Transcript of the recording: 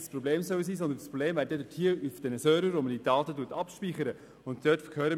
Das Problem läge vielmehr bei den Servern, auf denen die Daten abgespeichert werden.